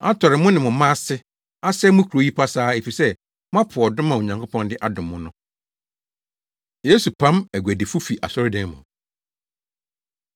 atɔre mo ne mo mma ase, asɛe mo kurow yi pasaa, efisɛ moapo adom a Onyankopɔn de adom mo no.” Yesu Pam Aguadifo Fi Asɔredan Mu